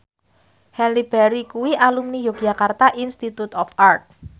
Halle Berry kuwi alumni Yogyakarta Institute of Art